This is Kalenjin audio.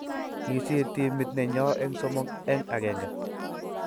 Kisiir teamit nenyo eng somok eng agenge